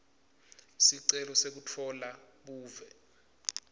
sicelo sekutfola buve